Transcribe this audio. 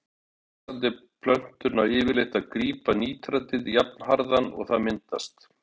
Vaxandi plöntur ná yfirleitt að grípa nítratið jafnharðan og það myndast.